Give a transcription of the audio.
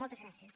moltes gràcies